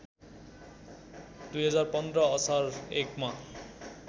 २०१५ असार १ मा